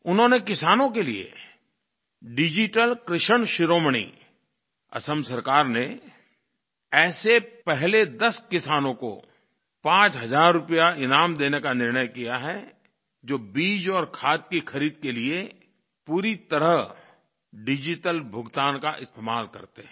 उन्होंने किसानों के लिये डिजिटल कृषक शिरोमणि असम सरकार ने ऐसे पहले 10 किसानों को 5 हज़ार रुपया ईनाम देने का निर्णय किया है जो बीज और खाद की ख़रीद के लिए पूरी तरह डिजिटल भुगतान का इस्तेमाल करते हैं